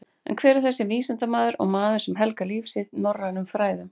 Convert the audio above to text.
En hver var þessi vísindamaður og maður sem helgaði líf sitt norrænum fræðum?